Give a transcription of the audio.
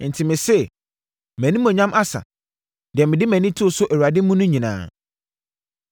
Enti mese, “Mʼanimuonyam asa, deɛ mede mʼani too so Awurade mu no nyinaa.”